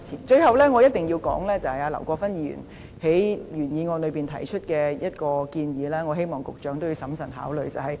最後，我必須談談劉國勳議員在原議案內提出的一個建議，希望局長審慎考慮。